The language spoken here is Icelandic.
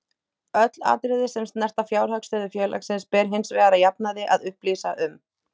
Öll atriði sem snerta fjárhagsstöðu félagsins ber hins vegar að jafnaði að upplýsa um.